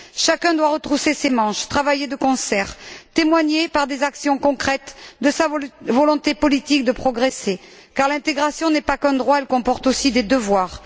Chacun doit retrousser ses manches, travailler de concert, témoigner, par des actions concrètes, de sa volonté politique de progresser car l'intégration n'est pas qu'un droit, elle comporte aussi des devoirs.